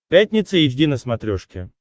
пятница эйч ди на смотрешке